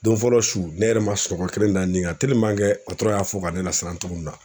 Don fɔlɔ su ne yɛrɛ ma sunɔgɔ kelen da n ni kan y'a fɔ ka ne lasiran cogo min na.